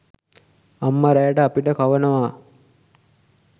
අම්ම රෑට අපිට කවනවා